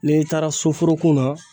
N'i taara soforokun na